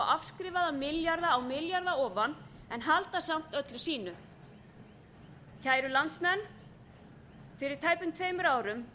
afskrifaða milljarða á milljarða ofan en halda samt öllu sínu kæru landsmenn fyrir tæpum tveimur árum